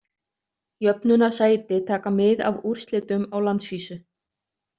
Jöfnunarsæti taka mið af úrslitum á landsvísu.